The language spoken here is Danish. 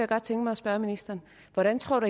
godt tænke mig at spørge ministeren hvordan tror